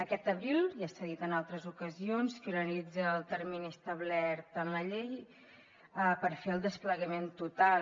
aquest abril ja s’ha dit en altres ocasions finalitza el termini establert en la llei per fer el desplegament total